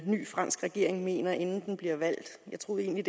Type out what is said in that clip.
ny fransk regering mener inden den bliver valgt jeg troede egentlig